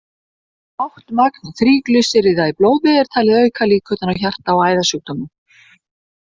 Hátt magn þríglýseríða í blóði er talið auka líkurnar á hjarta- og æðasjúkdómum.